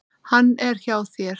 Hann er hjá þér.